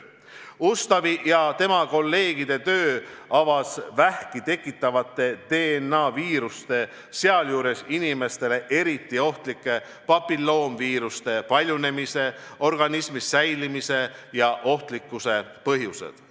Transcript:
Ustavi ja tema kolleegide töö avas vähki tekitavate DNA-viiruste, sealjuures inimesele eriti ohtlike papilloomiviiruste paljunemise, organismis säilimise ja ohtlikkuse põhjused.